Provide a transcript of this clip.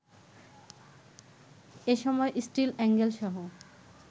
এসময় স্টীল এ্যাঙ্গেলসহ